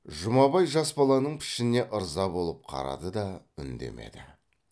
жұмабай жас баланың пішініне ырза болып қарады да үндемеді